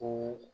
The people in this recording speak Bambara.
Ko